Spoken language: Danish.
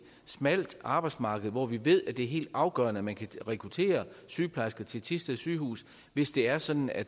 smalt arbejdsmarked og vi ved at det er helt afgørende at man kan rekruttere sygeplejersker til thisted sygehus hvis det er sådan at